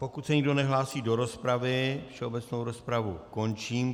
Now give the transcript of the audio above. Pokud se nikdo nehlásí do rozpravy, všeobecnou rozpravu končím.